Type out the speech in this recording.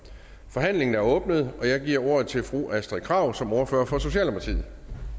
forhandlingen er åbnet og jeg giver ordet til fru astrid krag som ordfører for socialdemokratiet